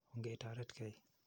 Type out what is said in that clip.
Ongee toretkei.